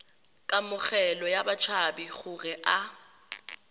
kamogelo ya batshabi gore a